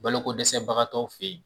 Bolo ko dɛsɛbagatɔw fe yen